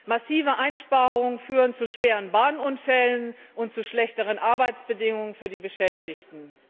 Massive Einsparungen führen zu schweren Bahnunfällen und zu schlechteren Arbeitsbedingungen für die Beschäftigten.